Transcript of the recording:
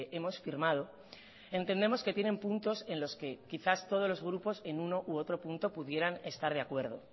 hemos firmado entendemos que tienen puntos en los que quizás todos los grupos en uno u otro punto pudieran estar de acuerdo